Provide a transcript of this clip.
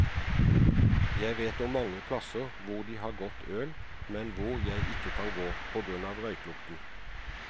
Jeg vet om mange plasser hvor de har godt øl, men hvor jeg ikke kan gå, på grunn av røykelukten.